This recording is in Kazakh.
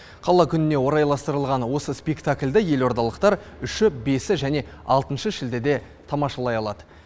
қала күніне орайластырылған осы спектакльді елордалықтар үші бесі және алтыншы шілдеде тамашалай алады